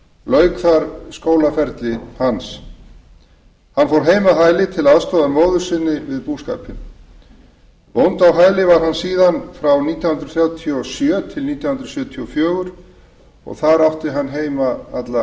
lauk þar skólaferli hans hann fór heim að hæli til aðstoðar móður sinni við búskapinn bóndi á hæli var hann síðan frá nítján hundruð þrjátíu og sjö til nítján hundruð sjötíu og fjögur og þar átti hann heima alla